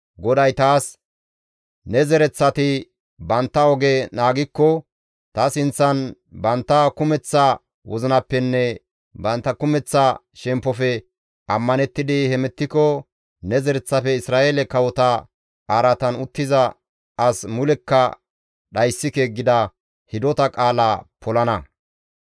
GODAY taas, ‹Ne zereththati bantta oge naagikko, ta sinththan bantta kumeththa wozinappenne bantta kumeththa shemppofe ammanettidi hemettiko ne zereththafe Isra7eele kawota araatan uttiza as mulekka dhayssike› gida hidota qaala polana.